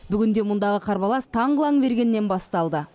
бүгінде мұндағы қарбалас таң қылаң бергеннен басталды